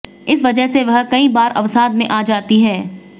इस वजह से वह कई बार अवसाद में आ जाती हैं